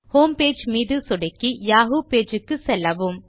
homepage மீது சொடுக்கி Yahoo page க்கு செல்லவும்